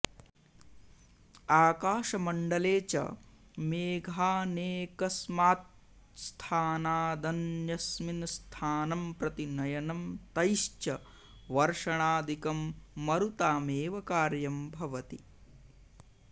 आकाशमण्डले च मेघानेकस्मात्स्थानादन्यस्मिंस्थानम्प्रति नयनं तैश्च वर्षणादिकं मरुतामेव कार्यं भवति